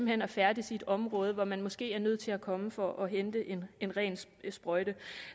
hen at færdes i et område hvor man måske er nødt til at komme for at hente en en ren sprøjte